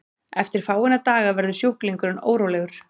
eftir fáeina daga verður sjúklingurinn órólegur